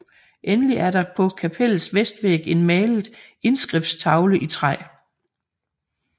Endelig er der på kapellets vestvæg en malet indskriftstavle i træ